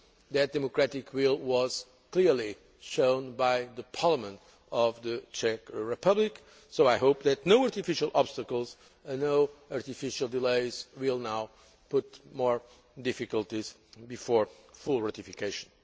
That democratic will was clearly shown by the Parliament of the Czech Republic, so I hope that no artificial obstacles and no artificial delays will now cause more difficulties before full ratification.